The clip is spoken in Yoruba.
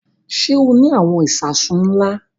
Ṣé o ní àwọn ìṣasùn ńlá?